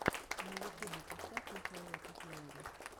на ютубе поставь михаила кокляева